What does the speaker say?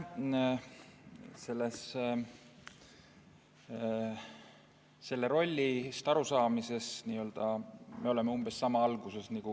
Sellest rollist arusaamisel me oleme umbes sama alguses.